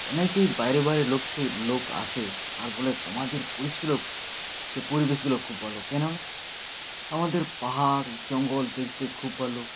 অনেকেই বাইরে বাইরে লোক থেকে লোক আসে আর বলে তোমাদের পরিশগুলো পরিবেশ গুলো খুব ভালো কেন আমাদের পাহাড় জঙ্গল দেখতে খুব ভালো